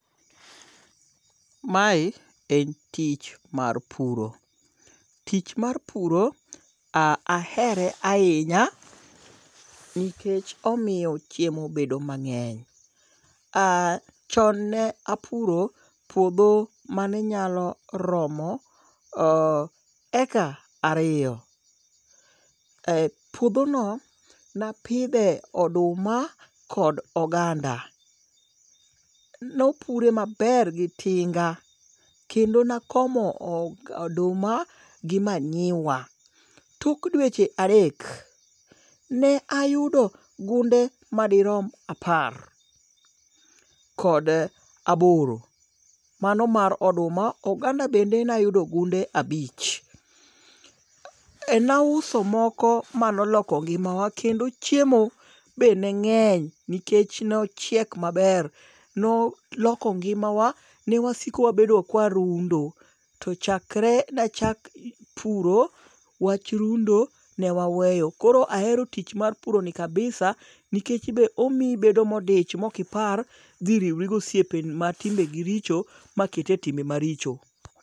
Mae en tich mar puro. Tich mar puro ahere ahinya nikech omiyo chiemo bedo mang'eny. Chon ne apuro puodho mane nyalo romo eka ariyo. Puodhono napidhe oduma kod oganda. Mopure maber gi tinga, kendo nakomo oduma gi manyiwa, tok dweche adek, ne ayudo gunde madirom apar, kod aboro. Mano mar oduma. Oganda bende nayudo gunde abich. Nauso moko ma noloko ngimawa kendo chiemo be ne ng'eny nikech nochiek maber. Noloko ngimawa, ne wasiko wabedo kwarundo, to chakre nachak puro, wach rundo ne waweyo. Koro ahero tich mar puroni kabisa nikech be omiyi ibedo modich mokipar dhi riwri gosiepe matimbegi richo maketi e timbe maricho.